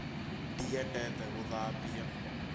Ndiendete gũthambia